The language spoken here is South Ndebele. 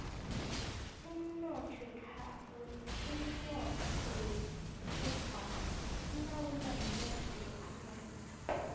umnoth wekhethwapha ulawulwa mnotho weamerika